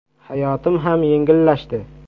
Hayotim ham yengillashdi.